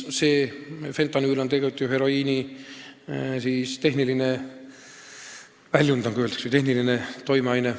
Fentanüül on ju heroiini tehniline väljund, nagu öeldakse, või tehniline toimeaine.